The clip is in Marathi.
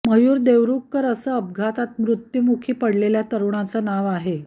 मयुर देवरुखकर असं अपघातात मृत्युमुखी पडलेल्या तरुणाचं नाव आहे